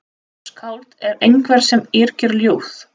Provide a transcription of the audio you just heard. Skáld er einhver sem yrkir ljóð.